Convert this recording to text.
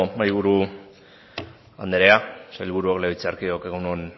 mahaiburu anderea sailburu legebiltzarkideok egun on